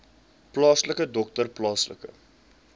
plaaslike dokter plaaslike